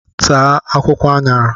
Taa akwụkwọ añara